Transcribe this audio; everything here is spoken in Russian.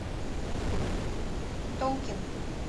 толкин